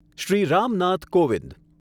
Shri Ram Nath Kovind